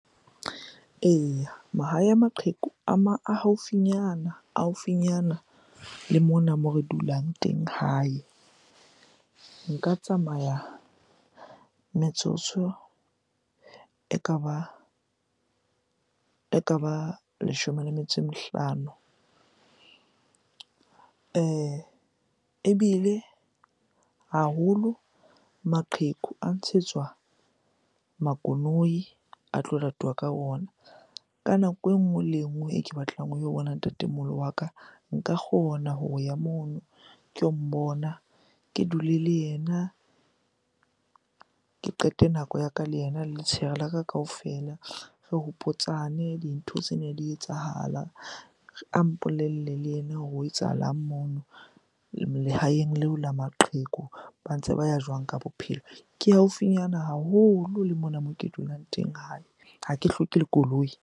Eya, mahae a maqheku a haufinyana, a haufinyana le mona moo re dulang teng hae. Nka tsamaya metsotso ekaba leshome le metso e mehlano. Ebile haholo maqheku a ntshetswa makoloi a tlo latuwa ka ona. Ka nako e nngwe le nngwe e ke batlang ho yo bona ntatemoholo wa ka, nka kgona ho ya mono ke yo mmona. Ke dule le yena, ke qete nako ya ka le ena letshehare la ka kaofela. Re hopotsane dintho tsene di etsahala, a mpolelle le ena hore ho etsahalang mono lehaeng leo la maqheku, ba ntse ba ya jwang ka bophelo? Ke haufinyana haholo le mona moo ke dulang teng hae. Ha ke hloke le koloi.